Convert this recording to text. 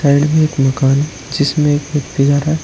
side में एक मकान जिसमें एक व्यक्ति जा रहा --